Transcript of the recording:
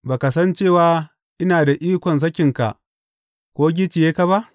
Ba ka san cewa ina da ikon sakinka, ko gicciye ka ba?